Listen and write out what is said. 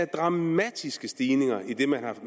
dramatiske stigninger i det man havde